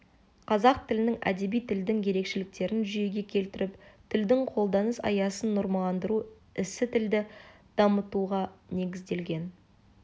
қазақ тілінің әдеби тілдің ерекшеліктерін жүйеге келтіріп тілдің қолданыс аясын нормаландыру ісі тілді дамытуға негізделген